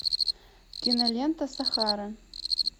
кинолента сахара